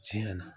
Tiɲɛ na